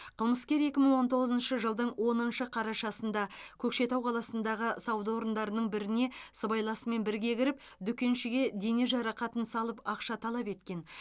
қылмыскер екі мың он тоғызыншы жылдың оныншы қарашасында көкшетау қаласындағы сауда орындарының біріне сыбайласымен бірге кіріп дүкеншіге дене жарақатын салып ақша талап еткен